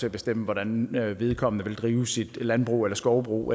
at bestemme hvordan vedkommende vil drive sit landbrug eller skovbrug